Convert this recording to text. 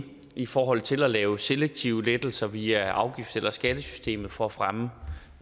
i forhold til at lave selektive lettelser via afgifts eller skattesystemet for at fremme